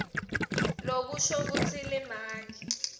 lokusho kutsi limaki